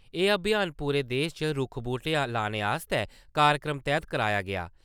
एह् अभियान पूरे देश च रुक्ख-बूह्टे लाने आस्तै कार्यक्रम तैह्त कराया गेआ।